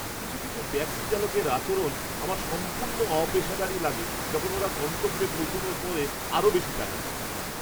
কিছু কিছু ট্যাক্সি চালকের আচরণ আমার সম্পূর্ণ অপেশাদারী লাগে যখন ওরা গন্তব্যে পৌঁছানোর পরে আরও বেশি টাকা চায়!